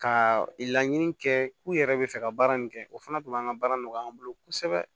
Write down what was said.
Ka laɲini kɛ k'u yɛrɛ bɛ fɛ ka baara min kɛ o fana tun b'an ka baara nɔgɔya an bolo kosɛbɛ